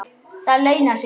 Það launar sig.